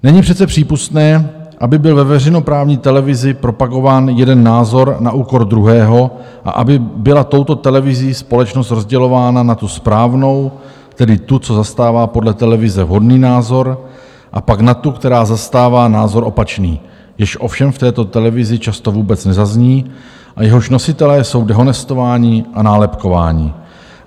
Není přece přípustné, aby byl ve veřejnoprávní televizi propagován jeden názor na úkor druhého a aby byla touto televizí společnost rozdělována na tu správnou, tedy tu, co zastává podle televize vhodný názor, a pak na tu, která zastává názor opačný, jenž ovšem v této televizi často vůbec nezazní a jehož nositelé jsou dehonestováni a nálepkováni.